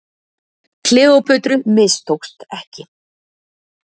Kleópötru mistókst ekki.